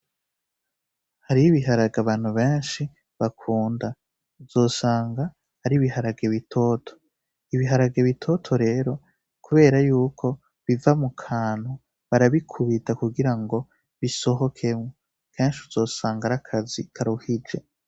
Hariyo ibiharage abantu benshi bakunda uzosanga ari ibiharage bitoto. Ibiharage bitoto rero kubera yuko biva mu kantu barabikubita kugirango bisohokemwo kenshi uzosanga ari akazi karuhije.